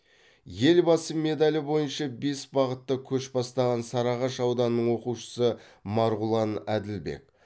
елбасы медалі бойынша бес бағытта көш бастаған сарыағаш ауданының оқушысы марғұлан әділбек